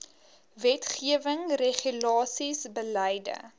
wetgewing regulasies beleide